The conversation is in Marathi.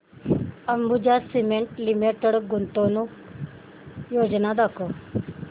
अंबुजा सीमेंट लिमिटेड गुंतवणूक योजना दाखव